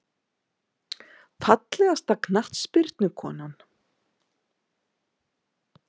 Fallegasta knattspyrnukonan?